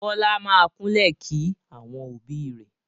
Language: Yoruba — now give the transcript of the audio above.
Bọlá máa kúnlẹ̀ kí àwọn òbí rẹ̀